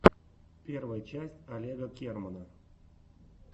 первая часть олега кермана